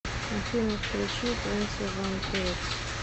афина включи твенти ван пилотс